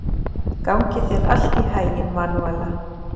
Gangi þér allt í haginn, Manúella.